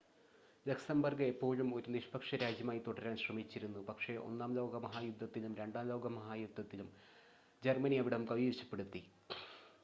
Luxembourg എപ്പോഴും ഒരു നിഷ്‌പക്ഷ രാജ്യമായി തുടരാൻ ശ്രമിച്ചിരുന്നു പക്ഷേ ഒന്നാം ലോക മഹായുദ്ധത്തിലും രണ്ടാം ലോക മഹായുദ്ധത്തിലും ജർമ്മനി അവിടം കൈവശപ്പെടുത്തി